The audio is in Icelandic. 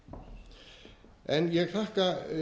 þjóðfélaginu okkar ég þakka